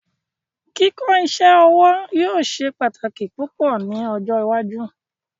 Kíkọ iṣẹ-ọwọ yóò ṣẹ̀ pátákì pupọ ni ọjọ́ ìwájú